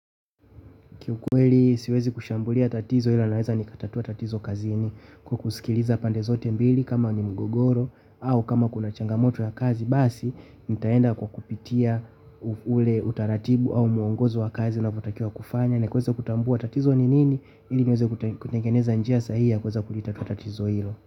Kiukweli siwezi kushambulia tatizo ila naweza ni katatua tatizo kazini kwa kusikiliza pande zote mbili kama ni mgogoro au kama kuna changamoto ya kazi basi nitaenda kwa kupitia ule utaratibu au mwongozo wa kazi unavyotakiwa kufanya ili kuweza kutambua tatizo ni nini ili nieze kutengeneza njia sahihi ya kuweza kulitatua tatizo hilo.